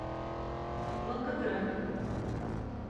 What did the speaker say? волгоград